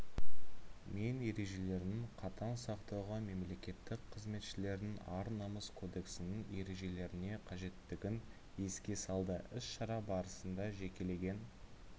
мен ережелерінің қатаң сақтауға мемлекеттік қызметшілердің ар-намыс кодексінің ережелеріне қажеттігін еске салды іс-шара барысында жекелеген